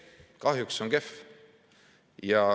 Kahjuks see on kehv.